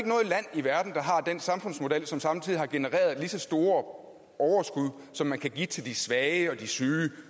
i verden der har den samfundsmodel som samtidig har genereret lige så store overskud som man kan give til de svage og de syge